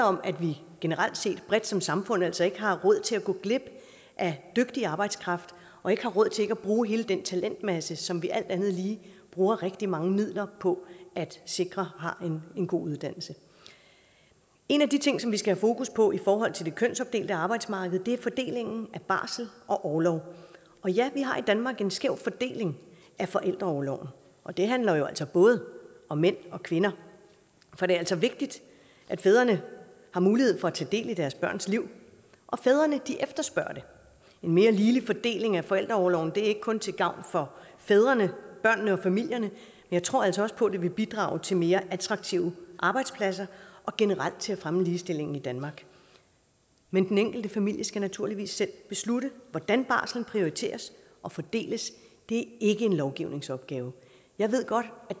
om at vi generelt set bredt som samfund altså ikke har råd til at gå glip af dygtig arbejdskraft og ikke har råd til ikke at bruge hele den talentmasse som vi alt andet lige bruger rigtig mange midler på at sikre har en god uddannelse en af de ting som vi skal have fokus på i forhold til det kønsopdelte arbejdsmarked er fordelingen af barsel og orlov og ja vi har i danmark en skæv fordeling af forældreorloven og det handler jo altså både om mænd og kvinder for det er altså vigtigt at fædrene har mulighed for at tage del i deres børns liv og fædrene efterspørger det en mere ligelig fordeling af forældreorloven er ikke kun til gavn for fædrene børnene og familierne jeg tror altså også på at det vil bidrage til mere attraktive arbejdspladser og generelt til at fremme ligestillingen i danmark men den enkelte familie skal naturligvis selv beslutte hvordan barslen prioriteres og fordeles det ikke en lovgivningsopgave jeg ved godt